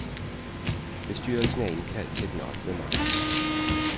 Bestyrelsen er indkaldt til den ottende marts.